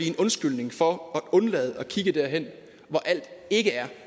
en undskyldning for at undlade at kigge derhen hvor alt ikke er